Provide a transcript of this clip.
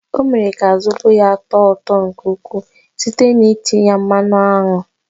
Ọ mere ka zobo ya tọọ ụtọ nke ukwuu site n'itinye ya mmanụ aṅụ.